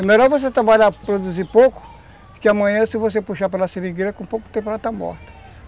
É melhor você trabalhar, produzir pouco, que amanhã se você puxar pela seringueira com pouco tempo ela está morta.